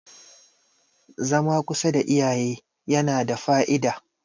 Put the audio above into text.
zama kusa da iyaye yana da Fa`ida